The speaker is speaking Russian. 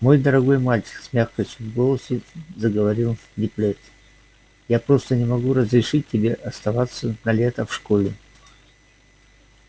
мой дорогой мальчик с мягкостью в голосе заговорил диппет я просто не могу разрешить тебе остаться на лето в школе